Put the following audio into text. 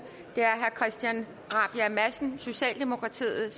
det er herre christian rabjerg madsen socialdemokratiet